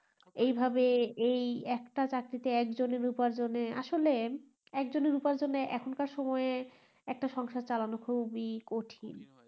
এই ভাবে এই একটা চাকরিতে এক জনের উপার্জনে আসলে একজনের উপার্জনে এখন কার সময়ে একটা সংসার চালানো খুব ই কঠিন